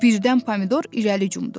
Birdən Pomidor irəli cumdu.